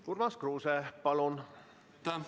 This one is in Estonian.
Urmas Kruuse, palun!